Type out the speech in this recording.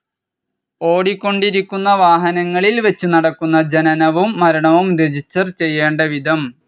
ഓടിക്കൊണ്ടിരിക്കുന്ന വാഹനങ്ങളിൽ വച്ച് നടക്കുന്ന ജനനവും മരണവും രജിസ്റ്റേർഡ്‌ ചെയ്യേണ്ട വിധം